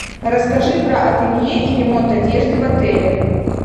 расскажи про ателье и ремонт одежды в отеле